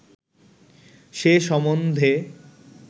সে সম্বন্ধে